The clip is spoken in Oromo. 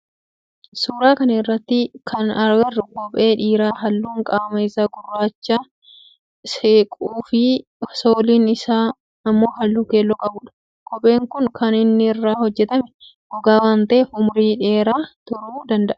Suuraa kana irratti kana agarru kophee dhiiraa halluun qaama isa gurraachatti siqu fi sooliin isaa immoo halluu keelloo qabudha. Kopheen kun kan inni irraa hojjetame gogaa waan ta'eef umrii dheeraa turu danda'aa.